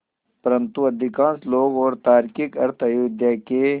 परन्तु अधिकांश लोग और तार्किक अर्थ अयोध्या के